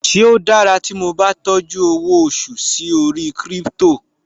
Ṣe ó dára tí mo bá tọ́jú owó oṣù sí orí Crypto?